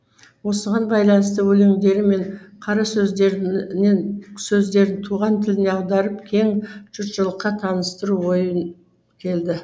осыған байланысты өлеңдері мен қарасөздерінен туған тіліне аударып кең жұртшылыққа таныстыру ойы келді